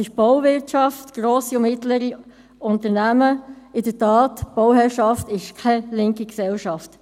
– Es ist die Bauwirtschaft, grosse und mittlere Unternehmen – in der Tat, die Bauwirtschaft ist keine linke Gesellschaft.